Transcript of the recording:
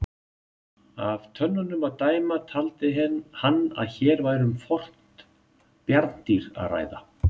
Af tönnunum að dæma taldi hann að hér væri um fornt bjarndýr að ræða.